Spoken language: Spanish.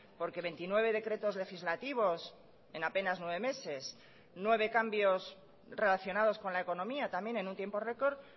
porque veintinueve decretos legislativos en apenas nueve meses nueve cambios relacionados con la economía también en un tiempo record